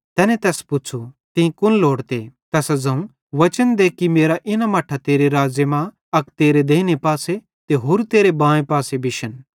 तैने तैस पुच़्छ़ू तीं कुन लोड़ते तैसां ज़ोवं वचन दे कि मेरां इन्ना मट्ठां तेरे राज़्ज़े मरां अक तेरे देइने पासे त होरू तेरे बाएं पासे बिश्शन